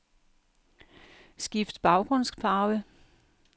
Skift baggrundsfarve.